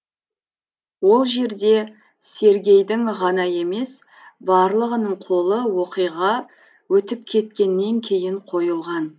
ол жерде сергейдің ғана емес барлығының қолы оқиға өтіп кеткеннен кейін қойылған